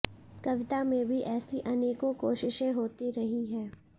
कविता में भी ऐसी अनेकों कोशिशें होती रही हैं